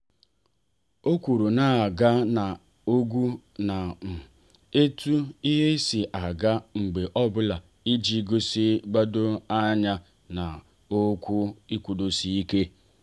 o kwuru na aga na àgwà ya um etu ihe si aga mgbe ọbụla iji gosi igbado anya n'ọrụ nkwudosi ike.